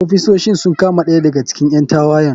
Ofisoshin sun kama ɗaya daga cikin ƴan tawayen.